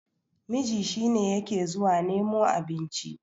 miji shi ne yake zuwa nemo abinci